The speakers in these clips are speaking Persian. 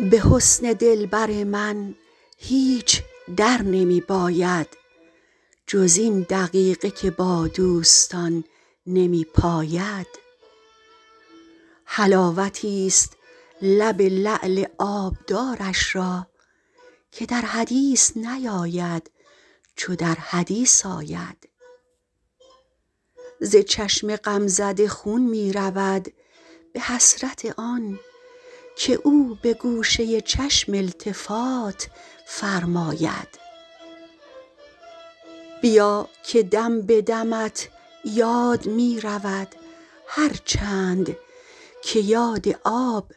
به حسن دلبر من هیچ در نمی باید جز این دقیقه که با دوستان نمی پاید حلاوتیست لب لعل آبدارش را که در حدیث نیاید چو در حدیث آید ز چشم غمزده خون می رود به حسرت آن که او به گوشه چشم التفات فرماید بیا که دم به دمت یاد می رود هر چند که یاد آب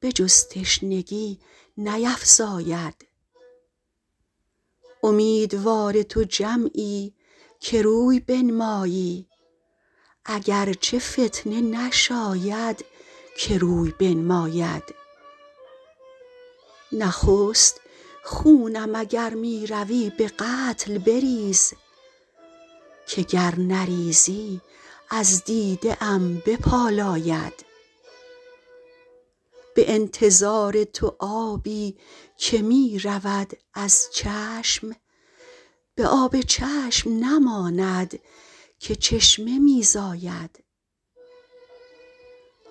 به جز تشنگی نیفزاید امیدوار تو جمعی که روی بنمایی اگر چه فتنه نشاید که روی بنماید نخست خونم اگر می روی به قتل بریز که گر نریزی از دیده ام بپالاید به انتظار تو آبی که می رود از چشم به آب چشم نماند که چشمه می زاید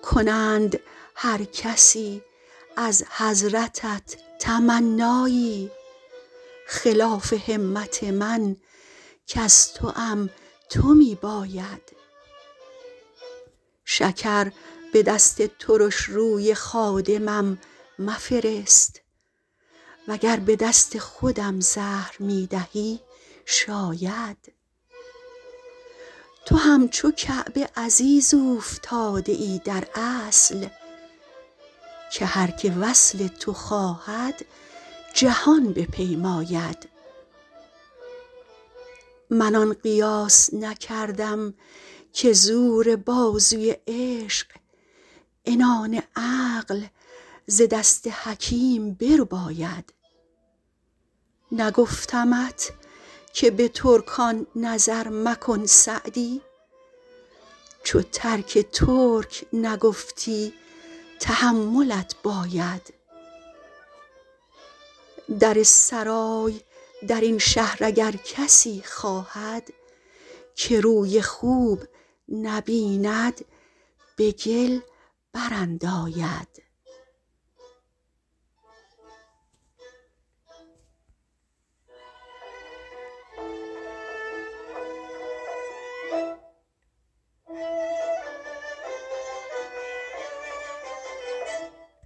کنند هر کسی از حضرتت تمنایی خلاف همت من کز توام تو می باید شکر به دست ترش روی خادمم مفرست و گر به دست خودم زهر می دهی شاید تو همچو کعبه عزیز اوفتاده ای در اصل که هر که وصل تو خواهد جهان بپیماید من آن قیاس نکردم که زور بازوی عشق عنان عقل ز دست حکیم برباید نگفتمت که به ترکان نظر مکن سعدی چو ترک ترک نگفتی تحملت باید در سرای در این شهر اگر کسی خواهد که روی خوب نبیند به گل برانداید